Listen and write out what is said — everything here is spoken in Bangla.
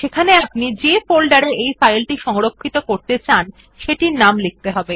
সেখানে আপনি যে ফোল্ডারে ফাইল সংরক্ষিত করতে চান সেটির নাম লিখতে হবে